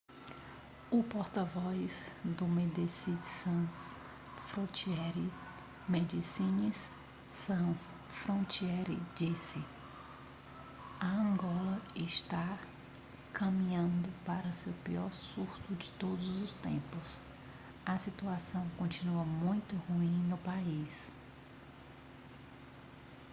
o porta-voz do medecines sans frontiere medecines sans frontiere disse a angola está caminhando para seu pior surto de todos os tempos a situação continua muito ruim no país